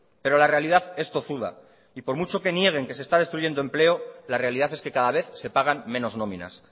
pero la realidad es tozuda y por mucho que nieguen que se está destruyendo empleo la realidad es que cada vez se pagan menos nóminas